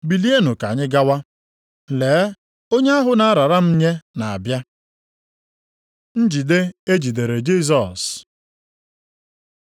Bilienụ ka anyị gawa. Lee, onye ahụ na-arara m nye na-abịa!” Njide e jidere Jisọs